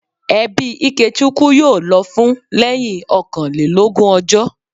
Ẹbí Ikechukwu yóò lọ fún lẹ́yìn ọkànlélógún ọjọ́